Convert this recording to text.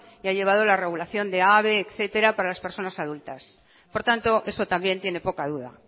y ha llevado la regulación de habe etcétera para las personas adultas por tanto esto también tiene poca duda